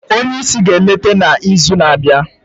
onye isi ga-eleta n'izu na-abịa